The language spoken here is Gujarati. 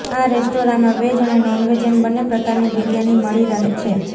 આ રેસ્ટોરાંમાં વેજ અને નોન વેજ એમ બંને પ્રકારની બિરિયાની મળી રહે છે